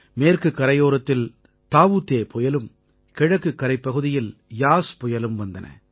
மேற்குக் கரையோரத்தில் தாஊ தே புயலும் கிழக்குக் கரைப்பகுதியில் யாஸ் புயலும் வந்தன